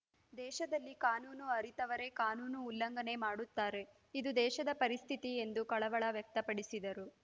ದೇಶದಲ್ಲಿ ಕಾನೂನು ಅರಿತವರೇ ಕಾನೂನು ಉಲ್ಲಂಘನೆ ಮಾಡುತ್ತಾರೆ ಇದು ದೇಶದ ಪರಿಸ್ಥಿತಿ ಎಂದು ಕಳವಳ ವ್ಯಕ್ತಪಡಿಸಿದರು